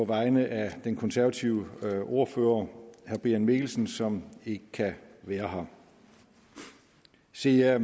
vegne af den konservative ordfører herre brian mikkelsen som ikke kan være her se jeg